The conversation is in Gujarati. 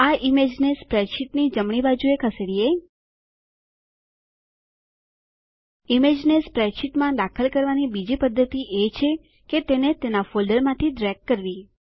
આ ઈમેજને સ્પ્રેડશીટની જમણી બાજુએ ખસેડીએ ઈમેજને સ્પ્રેડશીટમાં દાખલ કરવાની બીજી પદ્ધતિ એ છે કે તેને તેના ફોલ્ડરમાંથી ડ્રેગ કરવી